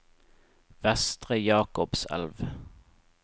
Vestre Jakobselv